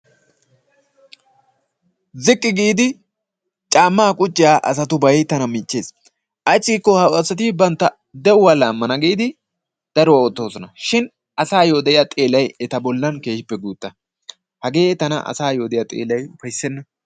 Ziqqi giidi camma qucciya asatubay tana michcheesi. Ayssi giikko ha asat bantta de'uwaa laamana giidi daro ootyosona shin asayoo de'iyaa xeelay eta bollan guutta. Hagee tana asaayo diya xeelay ufaysenna.